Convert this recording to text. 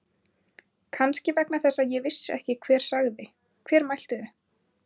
Kannski vegna þess að ég vissi ekki hver sagði. hver mælti þau.